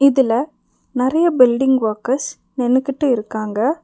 இதுல நறைய building workers நின்னுகிட்டு இருக்காங்க.